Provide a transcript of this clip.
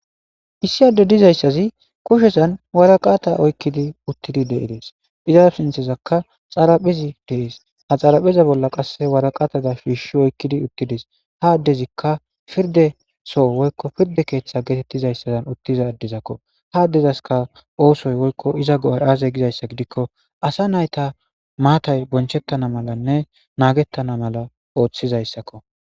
issi adde dizayssazi kushshesan waraqatta oykkidi uttidi de'ees iza sinththezankka xaraphphezi de'ees ha xaraphpheza bolla qasse waraqatada shiishshi oykkidi uttidees ha addezikka pirde soo woykko pirde keeththa geetettizayssazan uttiza addizakko ha addezaska oosoy woykko iza go'ay aze gizayssa gidikko assa naytta mattay bonchettana malanne nagettana mala ooththizayssakko